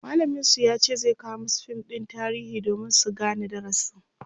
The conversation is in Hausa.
mallamin su yace zai kawo masu fim ɗin tarihi domin su Gane darasin